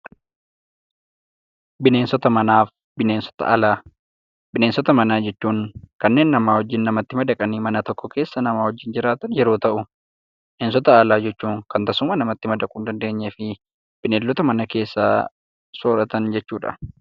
Bineensota alaa bineensota manaa Bineensota manaa jechuun kanneen nama wajjin madaqanii mana tokko keessa nama wajjin jiraatan yemmuu ta'u, bineensota alaa jechuun kan tasuma namatti madaqanii jiraachuu hin dandeenye fi bineeldotaa mana keessaa soorratan jechuudha.